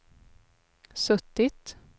suttit